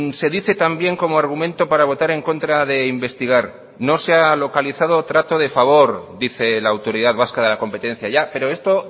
se dice también como argumento para votar en contra de investigar no se ha localizado trato de favor dice la autoridad vasca de la competencia ya pero esto